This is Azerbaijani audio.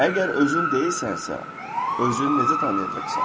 Əgər özün deyilsənsə, özünü necə tanıyacaqsan?